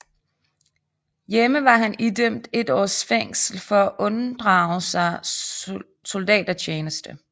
Hjemme var han idømt et års fængsel for at unddrage sig soldatertjeneste